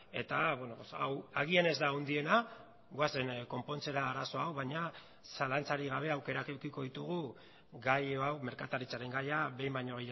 eta hau agian ez da handiena goazen konpontzera arazo hau baina zalantzarik gabe aukerak edukiko ditugu gai hau merkataritzaren gaia behin baino